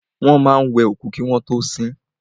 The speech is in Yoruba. Wọ́n máa wẹ òkú kí wọ́n tọ́ sin.